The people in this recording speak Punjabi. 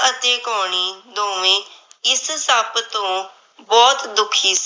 l